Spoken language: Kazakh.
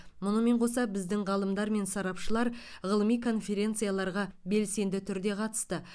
мұнымен қоса біздің ғалымдар мен сарапшылар ғылыми конференцияларға белсенді түрде қатысты